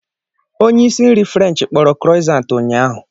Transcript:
Onye isi nri Ferenchi kporo krosant ụnyaahụ.